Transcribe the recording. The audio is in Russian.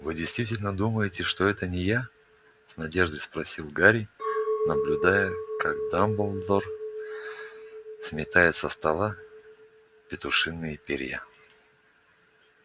вы действительно думаете что это не я с надеждой спросил гарри наблюдая как дамблдор сметает со стола петушиные перья